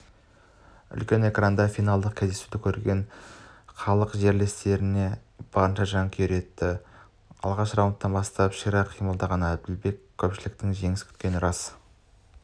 үлкен экраннан финалдық кездесуді көрген халық жерлестеріне барынша жанкүйерлік етті алғашқы раундтан бастап ширақ қимылдаған әділбектен көпшіліктің жеңіс күткені рас